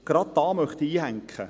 Gerade hier möchte ich einhaken: